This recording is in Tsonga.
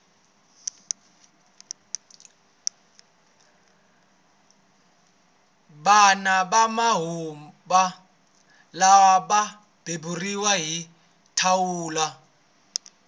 vana va manguva lawa va beburiwa hi thawula